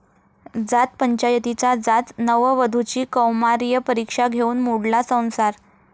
जात पंचायतीचा जाच, नववधूची कौमार्य परीक्षा घेऊन मोडला संसार!